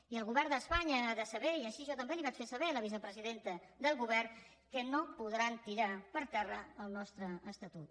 i el govern d’espanya ha de saber i així jo també li ho vaig fer saber a la vicepresidenta del govern que no podran tirar per terra el nostre estatut